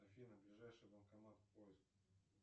афина ближайший банкомат поиск